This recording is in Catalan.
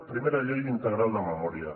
primera llei integral de memòria